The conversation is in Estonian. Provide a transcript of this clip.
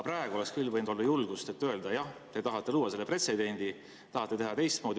Praegu oleks küll võinud olla julgust öelda, et jah, te tahate luua pretsedendi, tahate teha teistmoodi.